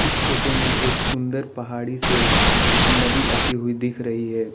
इस फोटो में एक सुंदर पहाड़ी से नदी आती हुई दिख रही है।